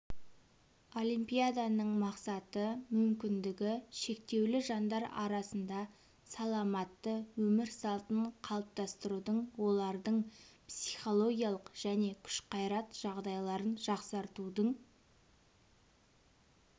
олимпиаданың мақсаты мүмкіндігі шектеулі жандар арасында саламатты өмір салтын қалыптастырудың олардың психологиялық және күш-қайрат жағдайларын жақсартудың